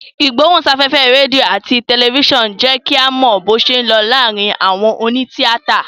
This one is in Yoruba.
Ìgbóhùn sáfẹ́fẹ́ rédíò àti tẹ̀lifísàn ń jẹ́ kí a mọ bó ṣé ń lọ láàárín àwọn òní tíátà